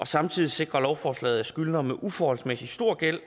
samtidig sikrer lovforslaget at skyldnere med uforholdsmæssig stor gæld